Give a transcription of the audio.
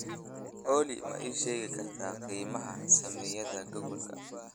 Olly ma ii sheegi kartaa qiimaha saamiyada google-ka